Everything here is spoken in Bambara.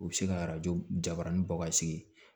U bɛ se ka arajo jabanin bɔ ka sigi